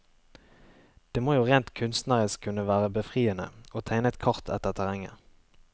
Det må jo rent kunstnerisk kunne være befriende å tegne et kart etter terrenget.